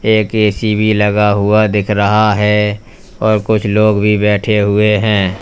एक ए_सी भी लगा हुआ दिख रहा है और कुछ लोग भी बैठे हुए हैं।